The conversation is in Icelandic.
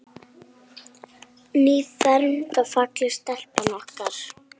Nýfermd og falleg stelpan okkar.